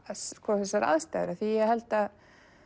þessar aðstæður því að ég held að